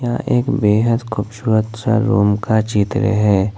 यह एक बेहद खूबसूरत सा रूम का चित्र है।